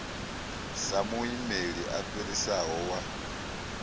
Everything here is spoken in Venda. sa muimeli a fhirisaho wa